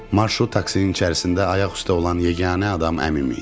Marşrut taksinin içərisində ayaqüstə olan yeganə adam əmim idi.